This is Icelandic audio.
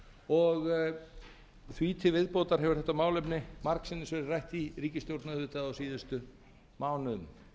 dómsmálaráðherra því til viðbótar hefur þetta málefni dag sinnis verið rætt í ríkisstjórn auðvitað á síðustu mánuðum